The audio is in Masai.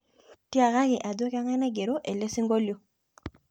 tiakaki ajo kangae naigero ele singolio